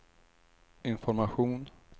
information